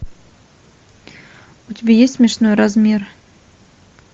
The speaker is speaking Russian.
у тебя есть смешной размер